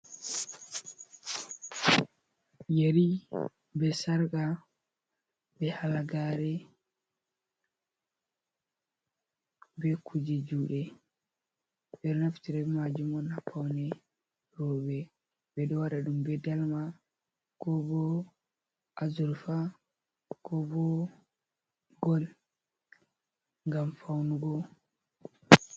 Yeri be sarka, be halagaare, be kuje juuɗe. Ɓe ɗo naftira ɓe maajum on haa paune roɓe. Ɓe ɗo waɗa ɗum be dalma, ko bo 'azurfa', ko bo gol. Ngam faunugo.